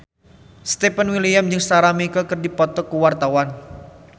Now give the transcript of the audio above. Stefan William jeung Sarah McLeod keur dipoto ku wartawan